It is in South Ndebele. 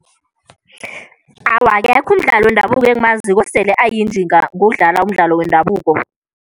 Awa, akekho umdlali wendabuko engimaziko osele ayinjinga ngokudlala umdlalo wendabuko.